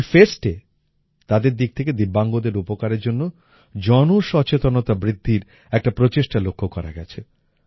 এই Festএ তাদের দিক থেকে দিব্যাঙ্গদের উপকারের জন্য জনসচেতনতা বৃদ্ধির একটা প্রচেষ্টা লক্ষ্য করা গেছে